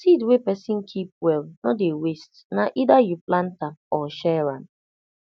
seed wey person keep well no dey waste na either you plant am or share am